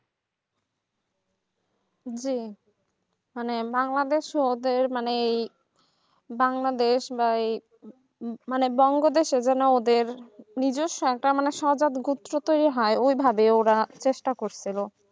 জি মানে বাংলাদেশ ওদের মানে বাংলাদেশ বা এই মানে বাংলাদেশ িনাদের নিজের সন্তান উত্তর দেওয়া হয় এভাবে ওরা চেষ্টা করছে বা